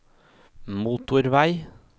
motorvei